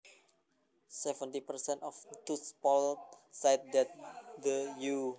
Seventy percent of those polled said that the U